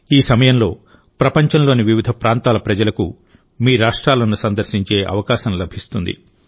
ఈ సమయంలోప్రపంచంలోని వివిధ ప్రాంతాల ప్రజలకు మీ రాష్ట్రాలను సందర్శించే అవకాశం లభిస్తుంది